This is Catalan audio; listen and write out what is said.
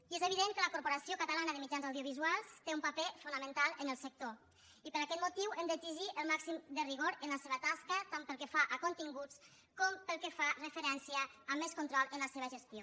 i és evident que la corporació catalana de mitjans audiovisuals té un paper fonamental en el sector i per aquest motiu hem d’exigir el màxim de rigor en la seva tasca tant pel que fa a continguts com pel que fa referència a més control en la seva gestió